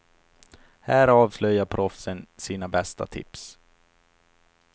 Här avslöjar proffsen sina bästa tips.